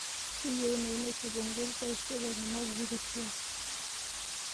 keyieunoyu naishop ogoti taisere tenapuku tesiai